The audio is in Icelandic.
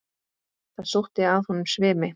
Það sótti að honum svimi.